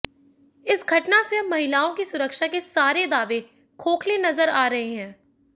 इस घटना से अब महिलाओं की सुरक्षा के सारे दावे खोखले नजर आ रहे हैं